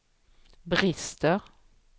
brister